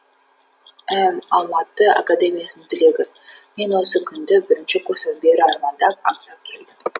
іім алматы академиясының түлегі мен осы күнді бірінші курстан бері армандап аңсап келдім